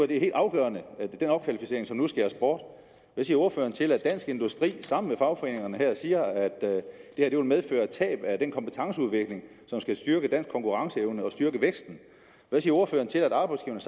det helt afgørende er den opkvalificering som nu skæres bort hvad siger ordføreren til at dansk industri sammen med fagforeningerne siger at det her vil medføre tab af den kompetenceudvikling som skal styrke dansk konkurrenceevne og styrke væksten hvad siger ordføreren til at arbejdsgiverne